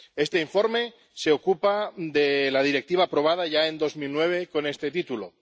Este informe se ocupa de la Directiva aprobada ya en 2009 con este título.